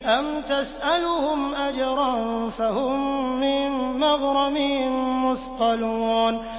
أَمْ تَسْأَلُهُمْ أَجْرًا فَهُم مِّن مَّغْرَمٍ مُّثْقَلُونَ